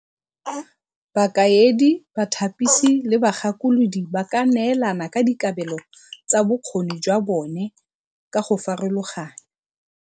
Bakaedi, bathapisi, le bagakolodi ba ka neelana ka dikabelo tsa bokgoni jwa bone ka go farologana.